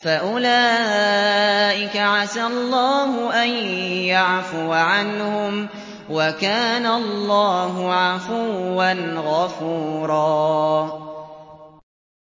فَأُولَٰئِكَ عَسَى اللَّهُ أَن يَعْفُوَ عَنْهُمْ ۚ وَكَانَ اللَّهُ عَفُوًّا غَفُورًا